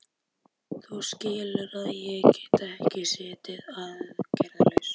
Þú skilur að ég get ekki setið aðgerðalaus.